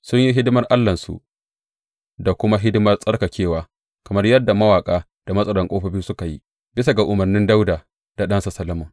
Sun yi hidimar Allahnsu da kuma hidimar tsarkakewa, kamar yadda mawaƙa da matsaran ƙofofi suka yi, bisa ga umarnin Dawuda da ɗansa Solomon.